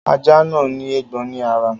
Ajá náà ní éégbọn ní ara.